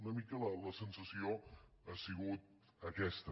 una mica la sensació ha sigut aquesta